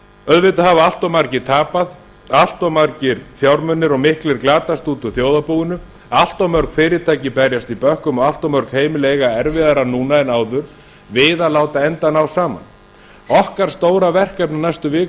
auðvitað hafa allt of margir tapað allt of margir fjármunir og miklir glatast út úr þjóðarbúinu allt of mörg fyrirtæki berjast í bökkum og allt of mörg heimili eiga erfiðara nú en áður við að láta enda ná saman okkar stóra verkefni á næstu vikum